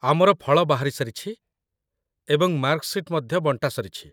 ଆମର ଫଳ ବାହାରିସାରିଛି, ଏବଂ ମାର୍କ ସିଟ୍ ମଧ୍ୟ ବଣ୍ଟାସରିଛି